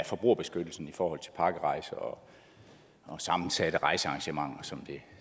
forbrugerbeskyttelsen i forhold til pakkerejser og sammensatte rejsearrangementer som